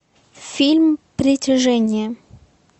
фильм притяжение